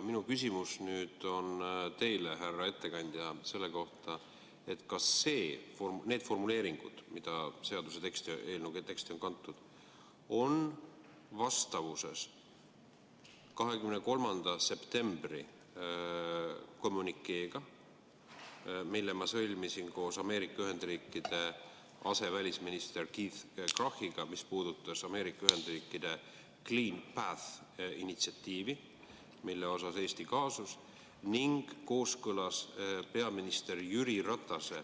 Minu küsimus on teile, härra ettekandja, selle kohta, kas need formuleeringud, mis seaduse teksti ja eelnõu teksti on kantud, on vastavuses 23. septembri kommünikeega, mille ma sõlmisin koos Ameerika Ühendriikide asevälisminister Keith Krachiga, mis puudutas Ameerika Ühendriikide initsiatiivi "Clean Path", mille suhtes Eesti kaasus, ning kas see on kooskõlas peaminister Jüri Ratase